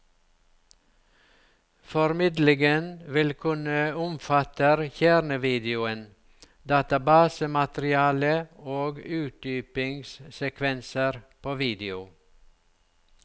Formidlingen vil kunne omfatter kjernevideoen, databasematerialet og utdypingssekvenser på video.